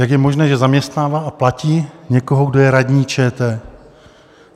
Jak je možné, že zaměstnává a platí někoho, kdo je radní ČT?